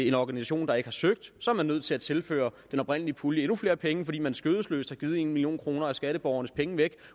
en organisation der ikke har søgt så er man nødt til at tilføre den oprindelige pulje endnu flere penge fordi man skødesløst har givet en million kroner af skatteborgernes penge væk